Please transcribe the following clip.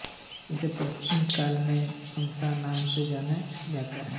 इसे प्राचीनकाल में तमसा नाम से जाना जाता था